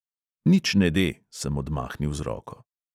"Nič ne de," sem odmahnil z roko.